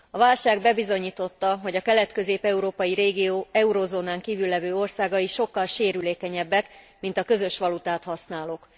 A válság bebizonyította, hogy a kelet közép európai régió eurozónán kívül levő országai sokkal sérülékenyebbek, mint a közös valutát használók.